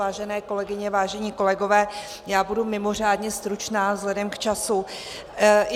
Vážené kolegyně, vážení kolegové, já budu mimořádně stručná vzhledem k času.